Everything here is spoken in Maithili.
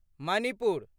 मणिपुर